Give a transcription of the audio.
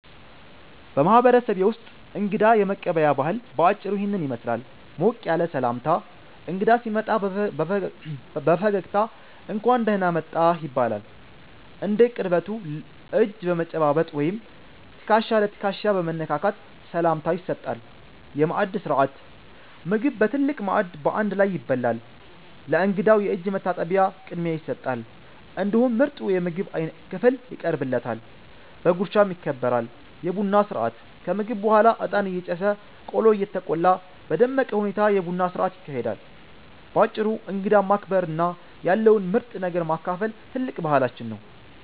በማህበረሰቤ ውስጥ እንግዳ የመቀበያ ባህል በአጭሩ ይህንን ይመስላል፦ ሞቅ ያለ ሰላምታ፦ እንግዳ ሲመጣ በፈገግታ "እንኳን ደህና መጣህ" ይባላል። እንደ ቅርበቱ እጅ በመጨባበጥ ወይም ትከሻ ለትከሻ በመነካካት ሰላምታ ይሰጣል። የማዕድ ሥርዓት፦ ምግብ በትልቅ ማዕድ በአንድ ላይ ይበላል። ለእንግዳው የእጅ መታጠቢያ ቅድሚያ ይሰጣል፤ እንዲሁም ምርጡ የምግብ ክፍል ይቀርብለታል፣ በጉርሻም ይከበራል። የቡና ሥርዓት፦ ከምግብ በኋላ እጣን እየጨሰ፣ ቆሎ እየተቆላ በደመቀ ሁኔታ የቡና ሥርዓት ይካሄዳል። ባጭሩ እንግዳን ማክበርና ያለውን ምርጥ ነገር ማካፈል ትልቅ ባህላችን ነው።